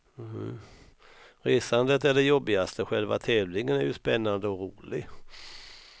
Resandet är det jobbigaste, själva tävlingen är ju spännande och rolig.